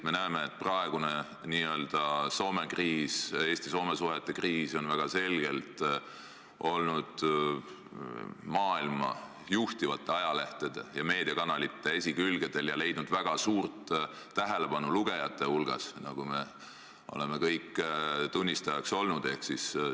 Me näeme, et praegune n-ö Eesti-Soome suhete kriis on väga selgelt olnud maailma juhtivate ajalehtede ja meediakanalite esikülgedel ning leidnud väga suurt tähelepanu lugejate hulgas, mille tunnistajaks me kõik oleme olnud.